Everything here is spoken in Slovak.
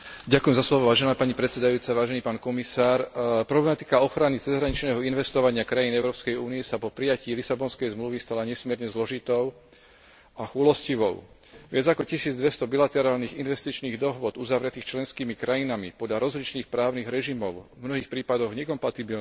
Vážená pani predsedajúca, vážený pán komisár, problematika ochrany cezhraničného investovania krajín Európskej únie sa po prijatí Lisabonskej zmluvy stala nesmierne zložitou a chúlostivou. Viac ako 1200 bilaterálnych investičných dohôd uzavretých členskými krajinami podľa rozličných právnych režimov, v mnohých prípadoch nekompatibilných,